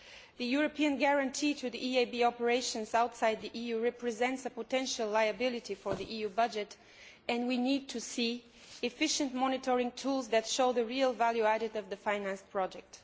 The European guarantee to the EIB operations outside the EU represents a potential liability for the EU budget and we need to see efficient monitoring tools that show the real value added of the finance project.